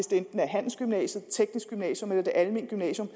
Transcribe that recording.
det er handelsgymnasiet det tekniske gymnasium eller det almene gymnasium